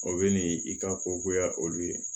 O bɛ n'i ka kogoya olu ye